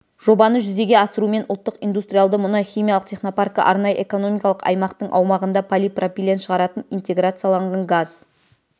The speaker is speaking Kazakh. жобаны жүзеге асырумен ұлттық индустриалды мұнай химиялық технопаркі арнайы экономикалық аймақтың аумағында полипропилен шығаратын интеграцияланған газ